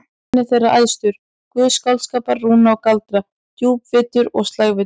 Óðinn er þeirra æðstur, guð skáldskapar, rúna og galdra, djúpvitur og slægvitur.